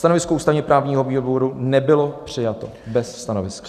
Stanovisko ústavně-právního výboru nebylo přijato, bez stanoviska.